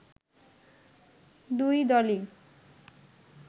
দুই দলই